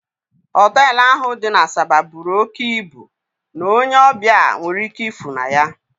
Hotelu ahụ dị n'Asaba bụrụ òkè ịbụ n'onye ọbịa nwere ike ịfụ na ya